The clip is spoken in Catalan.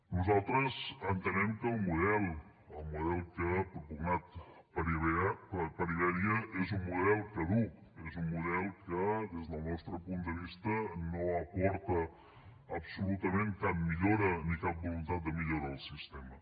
nosaltres entenem que el model el model que s’ha propugnat per iberia és un model caduc és un model que des del nostre punt de vista no aporta absolutament cap millora ni cap voluntat de millora al sistema